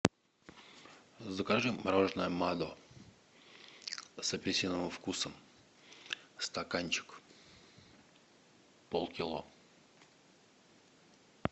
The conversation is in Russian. закажи мороженное мадо с апельсиновым вкусом стаканчик полкило